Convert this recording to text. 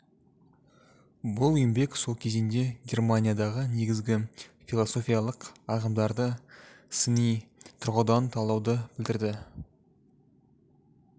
бұл еңбек сол кезеңде германиядағы негізгі философиялық ағымдарды сыни тұрғыдан талдауды білдірді